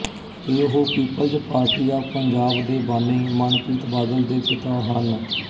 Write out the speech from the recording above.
ਤੇ ਉਹ people's party of Punjab ਦੇ ਬਾਨੀ ਮਨਪ੍ਰੀਤ ਬਾਦਲ ਦੇ ਪਿਤਾ ਹਨ